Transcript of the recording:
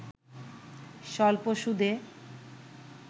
স্বল্প সুদে